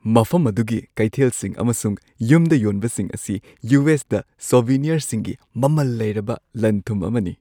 ꯃꯐꯝ ꯑꯗꯨꯒꯤ ꯀꯩꯊꯦꯜꯁꯤꯡ ꯑꯃꯁꯨꯡ ꯌꯨꯝꯗ ꯌꯣꯟꯕꯁꯤꯡ ꯑꯁꯤ ꯌꯨ. ꯑꯦꯁ. ꯗ ꯁꯣꯚꯦꯅꯤꯔꯁꯤꯡꯒꯤ ꯃꯃꯜ ꯂꯩꯔꯕ ꯂꯟ-ꯊꯨꯝ ꯑꯃꯅꯤ ꯫